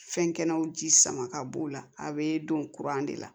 Fɛn kɛnɛw ji sama ka b'o la a be don de la